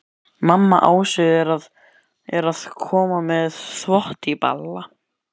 Mamma Ásu er að koma með þvott í bala.